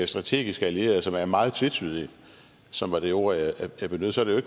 strategiske allierede som er meget tvetydigt og som var det ord jeg benyttede så er det